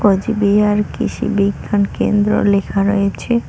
কুচবিহার কৃষি বিজ্ঞান কেন্দ্র লেখা রয়েছে।